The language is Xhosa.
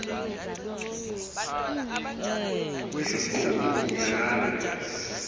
le nkqubo iyalandelwa